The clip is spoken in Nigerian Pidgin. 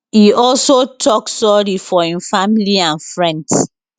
e also tok sorry to im family and friends